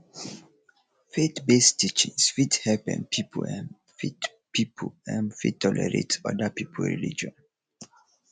faith based teaching fit help um pipo um fit pipo um fit tolerate oda pipo religion